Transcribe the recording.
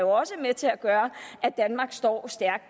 også er med til at gøre at danmark står stærkt